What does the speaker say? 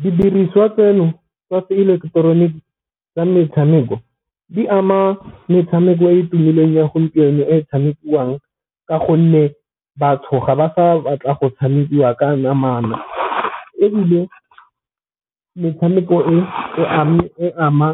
Didiriswa tseno tsa se ileketoroniki tsa metshameko di ama metshameko e e tumileng ya gompieno e tshamekiwang ka gonne batho ga ba fa o batla go tshamekiwa ka namana, ebile metshameko e ama